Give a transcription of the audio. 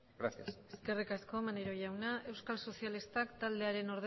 gracias eskerrik asko maneiro jauna euskal sozialistak taldearen